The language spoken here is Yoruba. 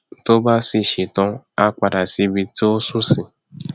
tó bá sì ṣe tán á padà sí ibi tí ó nsùn sí